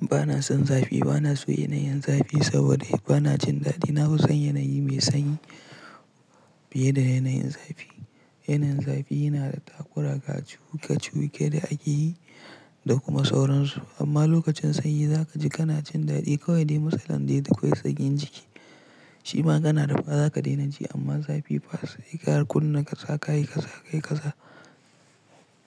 bana son zafi, bana so yanayin zafi saboda bana jin dadi. Na fi son yanayi mai sanyi fiye da yanayin zafi. Yanayin zafi yana da takura ga cuke-cuke da ake yi da kuma sauransu. Amma lokacin sanyi za ka ji kana jin dadi kawai dai mtsalan dai da kawai sanyin jiki. Shima kana rufa za ka daina ji amma zafi ba sauki ka kunna kaza kayi kaza kayi kaza.